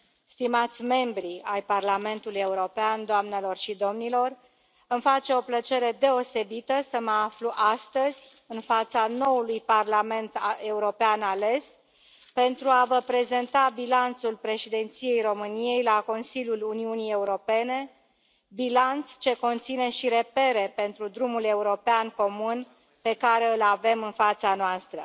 stimați membri ai Parlamentului European, doamnelor și domnilor, îmi face o plăcere deosebită să mă aflu astăzi în fața noului Parlament European ales, pentru a vă prezenta bilanțul președinției României la Consiliul Uniunii Europene, bilanț ce conține și repere pentru drumul european comun pe care îl avem în fața noastră.